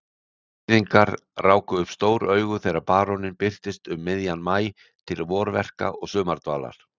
Borgfirðingar ráku upp stór augu þegar baróninn birtist um miðjan maí til vorverka og sumardvalar.